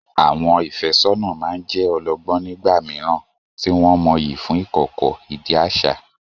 Àwọn ìfẹ́sọ́nà máa ń jẹ́ ọlọ́gbọ́n nígbà mìíràn, tí wọ́n mọyì fún ìkọ̀kọ̀, ìdí àṣà.